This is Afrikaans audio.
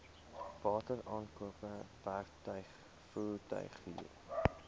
wateraankope werktuig voertuighuur